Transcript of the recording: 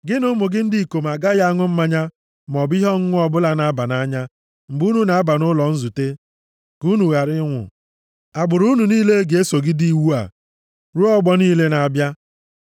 “Gị na ụmụ gị ndị ikom agaghị aṅụ mmanya, maọbụ ihe ọṅụṅụ ọbụla na-aba nʼanya mgbe unu na-aba nʼụlọ nzute ka unu ghara ịnwụ. Agbụrụ unu niile ga-esogide iwu a ruo ọgbọ niile na-abịa.